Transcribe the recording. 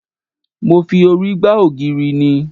Mo fi orí gba ògiri ni